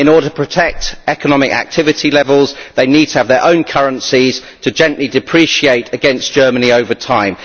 In order to protect economic activity levels, they need to have their own currencies to gently depreciate against Germany over time.